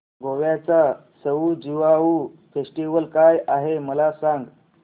गोव्याचा सउ ज्युआउ फेस्टिवल काय आहे मला सांग